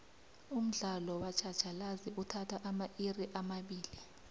umdlalo wetjhatjhalazi uthatha amairi amabili